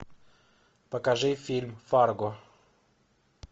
покажи фильм фарго